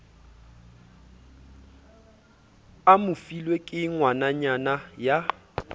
a mofilwe ke ngwananyana ya